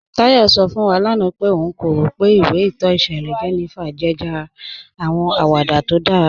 Táyọ̀ sọ̀ fún wà lána pé ọ̀n kò rọ̀ pé ìwé ìtọ́ ìṣẹ̀lẹ̀ 'Jenifa' jẹ́ jàrá àwọn àwàdà tó dára.